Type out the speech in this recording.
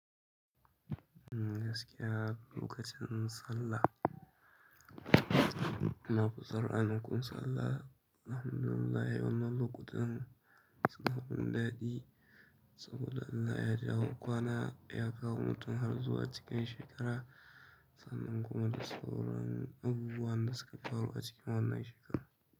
Umm, gaskiya lokacin sallah, na kusa rana kun sallah, alhamdulillah wannan lokutan suna mun daɗi saboda Allah ya jawo kwana ya kawo mutum har zuwa cikin shekara, sannan kuma dasaura abubuwan da suka faru a cikin wannan shekara.